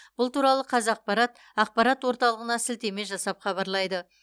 бұл туралы қазақпарат ақпарат орталығына сілтеме жасап хабарлайды